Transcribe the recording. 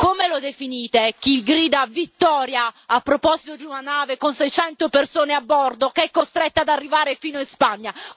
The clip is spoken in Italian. Come lo definite chi grida vittoria a proposito di una nave con 600 persone a bordo, che è costretta ad arrivare fino in Spagna?